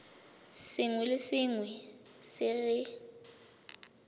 sengwe le sengwe se re